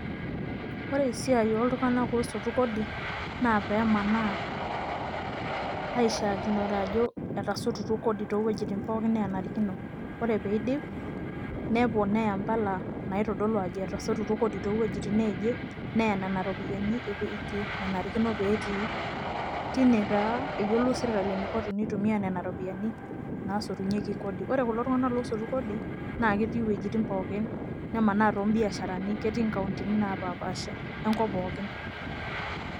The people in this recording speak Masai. ore esiai ooltunganak osotu kodi. naa pee manaa aishaakinore ajo etasotutuo kodi too wuejitin neenarikino. ore pee idip. neponaa empala, naitodolu ajo etasotutuo kodi too wuejitin neeje ,neya nena ropiyiani ewueji nenarikino, pee etii. teine taa eyiolou sirkali eniko tenitumia nena ropiyiani naasotunyeki kodi. ore kulo tungank oosotu kodi naa ketii iwuejitin pookin nemanaa too biasharani, ketii nkauntini naapashipaasha enkop pookin.